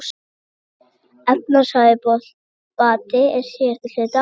Efnahagsbati á síðari hluta ársins